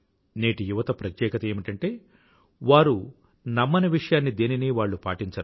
నేటి యువత ప్రత్యేకత ఏమిటంటే వారు నమ్మని విషయాన్ని దేనినీ వాళ్ళు పాటించరు